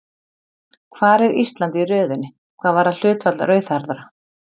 Hvar er Ísland í röðinni hvað varðar hlutfall rauðhærðra?